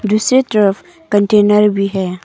दूसरे तरफ कंटेनर भी है।